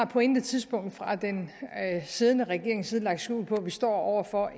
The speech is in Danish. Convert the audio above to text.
på intet tidspunkt fra den siddende regerings side har lagt skjul på at vi står over for